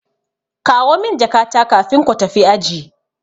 Kawo min jakata kafin ko tafi aji.